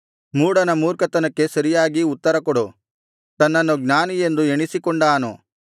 ಮೂಢನ ಮೂರ್ಖತನಕ್ಕೆ ಸರಿಯಾಗಿ ಉತ್ತರ ಕೊಡು ತನ್ನನ್ನು ಜ್ಞಾನಿಯೆಂದು ಎಣಿಸಿಕೊಂಡಾನು